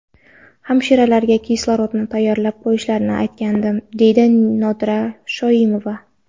Hamshiralarga kislorodni tayyorlab qo‘yishlarini aytgandim, deydi Nodira Shoimova.